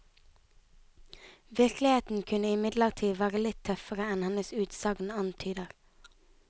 Virkeligheten kunne imidlertid være litt tøffere enn hennes utsagn antyder.